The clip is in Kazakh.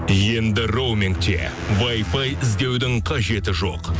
енді роумингте вайфай іздеудің қажеті жоқ